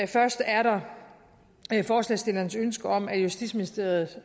først er der forslagsstillernes ønske om at justitsministeriet